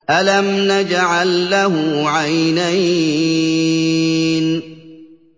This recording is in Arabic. أَلَمْ نَجْعَل لَّهُ عَيْنَيْنِ